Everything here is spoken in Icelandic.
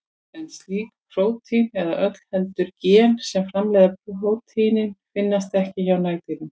En slík prótín, eða öllu heldur gen sem framleiða prótínin, finnast ekki hjá nagdýrum.